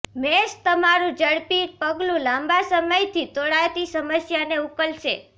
મેષ તમારૂં ઝડપી પગલું લાંબા સમયથી તોળાતી સમસ્યાને ઉકેલશે